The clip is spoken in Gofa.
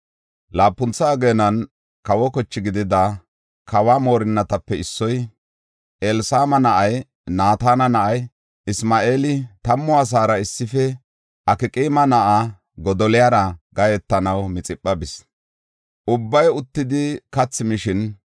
Laapuntha ageenan kawo koche gididi, kawa moorinnatape issoy, Elsama na7ay, Naatana na7ay Isma7eeli tammu asaara issife Akqaama na7aa Godoliyara gahetanaw Mixipha bis. Ubbay uttidi kathi mishin,